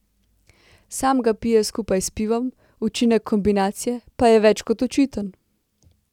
Sam ga pije skupaj s pivom, učinek kombinacije pa je več kot očiten.